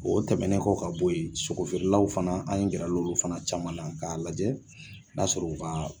O tɛmɛnen kɔ ka bɔ yen sogofeerelaw fana an gɛrala olu fana caman na k'a lajɛ n'a sɔrɔ u ka